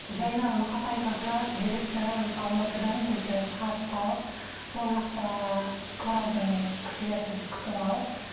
жайнар мұқатай қызы директоры осы алматыдан біздің шығарып салып сол жақта коралдың кісілері бізді күтіп алып